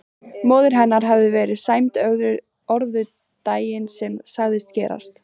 Móðir hennar hafði verið sæmd orðu daginn sem sagan gerist.